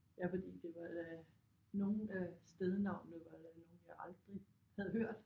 Ja fordi det var da nogle af stednavnene var da nogle jeg aldrig havde hørt